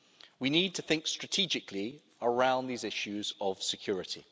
We need to think strategically around these issues of security.